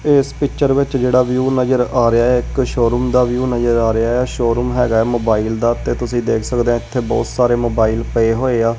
ਇਸ ਪਿੱਚਰ ਵਿਚ ਜਿਹੜਾ ਵਿਊ ਨਜਰ ਆ ਰਿਹਾ ਐ ਇੱਕ ਸ਼ੋ ਰੂਮ ਦਾ ਵਿਊ ਨਜਰ ਆ ਰਿਹਾ ਐ ਸ਼ੋ ਰੂਨ ਹੈਗਾ ਐ ਮੋਬਾਈਲ ਦਾ ਤੇ ਤੁਸੀ ਦੇਖ ਸਕਦੇ ਆ ਇੱਥੇ ਬਹੁਤ ਸਾਰੇ ਮੋਬਾਈਲ ਪਏ ਹੋਏ ਆ।